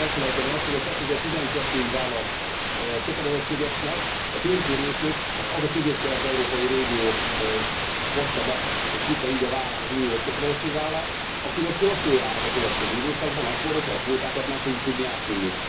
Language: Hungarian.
Nem szabad elfelejteni azt, hogy a 2012 ig vállalt kötelezettségeknek a döntő részét az a közép kelet európai régió hozta be és vitte így a vállán az uniós kötelezettségvállalást, amely most rosszul járhat a következő időszakban akkor, hogyha a kvótákat nem fogjuk tudni átvinni.